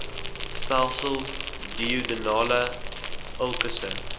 stelsel duodenale ulkusse